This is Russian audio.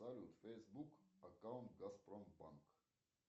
салют фейсбук аккаунт газпромбанк